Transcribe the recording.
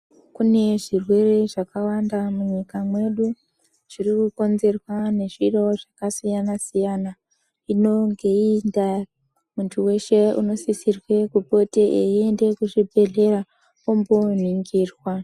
Kune zvirwere zvakawanda mu nyika mwedu zviri ku konzerwa ne zviro zvaka siyana siyana inonge yei inda muntu weshe unosisirwe kupote eyi ende ku zvibhedhlera ombo ningirwa.